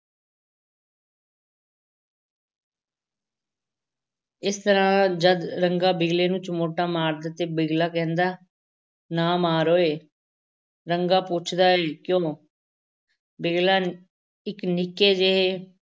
ਇਸ ਤਰ੍ਹਾਂ ਜਦ ਰੰਗਾ ਬਿਗਲੇ ਨੂੰ ਚਮੋਟਾ ਮਾਰਦਾ ਹੈ ਤੇ ਬਿਗਲਾ ਕਹਿੰਦਾ ਹੈ ਨਾ ਮਾਰ ਓਏ, ਰੰਗਾ ਪੁੱਛਦਾ ਹੈ ਕਿਉਂ ਬਿਗਲਾ ਇੱਕ ਨਿੱਕੇ ਜਿਹੇ